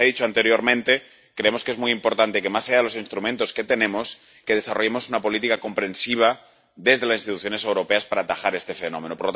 Y, como se ha dicho anteriormente, creemos que es muy importante que, más allá de los instrumentos que tenemos, desarrollemos una política comprensiva desde las instituciones europeas para atajar este fenómeno.